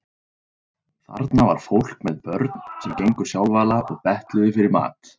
Þarna var fólk með börn sem gengu sjálfala og betluðu fyrir mat.